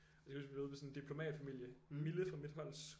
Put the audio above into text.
Og så kan jeg huske vi var ude ved sådan en diplomatfamilie Mille fra mit holds